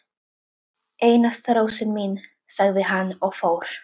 Einasta rósin mín, sagði hann og fór.